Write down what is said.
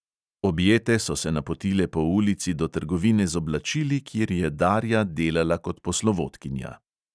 Objete so se napotile po ulici do trgovine z oblačili, kjer je darja delala kot poslovodkinja.